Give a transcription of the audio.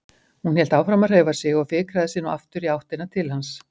Hún hélt áfram að hreyfa sig og fikraði sig nú aftur í áttina til hans.